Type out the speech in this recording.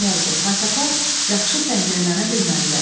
Qaçaqlar yaxşı səngərlənə bilmədilər.